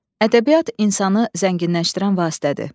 Ədəbiyyat insanı zənginləşdirən vasitədir.